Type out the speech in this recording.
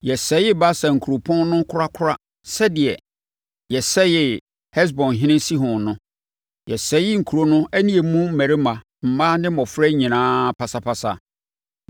Yɛsɛee Basan kuropɔn no korakora sɛdeɛ yɛsɛee Hesbonhene Sihon no. Yɛsɛee nkuro no ne emu mmarima, mmaa ne mmɔfra nyinaa pasapasa.